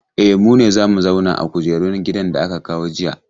E, mu ne za mu zauna a kujeran gidan da aka kawo jiya.